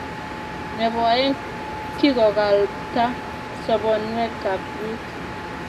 Nebo aeng, kikokalpta sobonwek ab biik